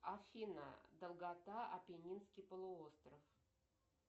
афина долгота апеннинский полуостров